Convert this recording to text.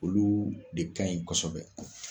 Olu de ka ɲi kosɛbɛ.